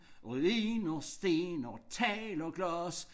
Ruiner sten og tegl og glas